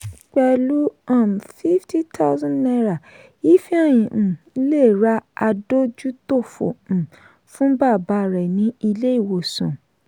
pẹ̀lú um fifty thousand naira ifeanyi um le rà adójútòfò um fún bàbá rẹ̀ ní ilé ìwòsàn